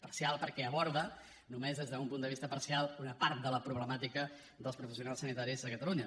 parcial perquè aborda només des d’un punt de vista parcial una part de la problemàtica dels professionals sanitaris a catalunya